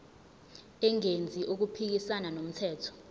engenzi okuphikisana nomthetho